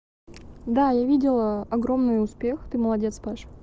да я видела огромный успех ты молодец паша